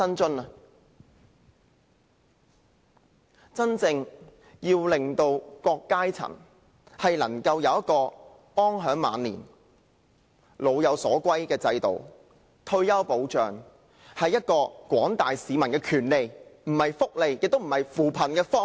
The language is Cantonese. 要真正令各階層安享晚年，老有所歸，退休保障是廣大市民的權利，而非福利，也不是扶貧方向。